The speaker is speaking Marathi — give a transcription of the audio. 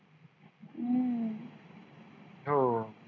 हो